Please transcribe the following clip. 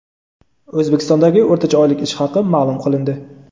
O‘zbekistondagi o‘rtacha oylik ish haqi maʼlum qilindi.